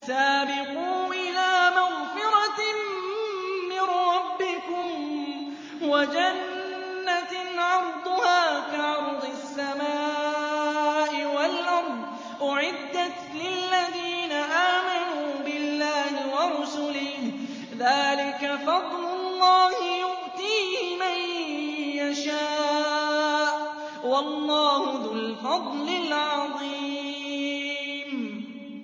سَابِقُوا إِلَىٰ مَغْفِرَةٍ مِّن رَّبِّكُمْ وَجَنَّةٍ عَرْضُهَا كَعَرْضِ السَّمَاءِ وَالْأَرْضِ أُعِدَّتْ لِلَّذِينَ آمَنُوا بِاللَّهِ وَرُسُلِهِ ۚ ذَٰلِكَ فَضْلُ اللَّهِ يُؤْتِيهِ مَن يَشَاءُ ۚ وَاللَّهُ ذُو الْفَضْلِ الْعَظِيمِ